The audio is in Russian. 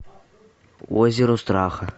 озеро страха